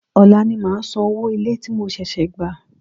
Òla ni màá san owó ilé tí mo ṣẹ̀ṣẹ̀ gbà